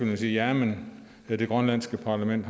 man siger jamen det grønlandske parlament